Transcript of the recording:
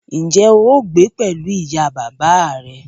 Ǹjẹ́ o óò gbé pẹ̀lú ìyá bàbá à rẹ?